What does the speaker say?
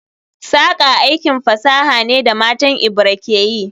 Saƙa aikin fasaha ne da matan Ebira ke yi